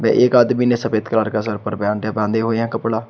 एक आदमी ने सफेद कलर का सर पर है बांधे हुए है कपड़ा।